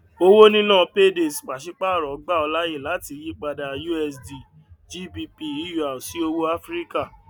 owó níná paydays pàṣípàrọ gbà ọ láyè láti yípadà usd gbp eur sí owó áfíríkà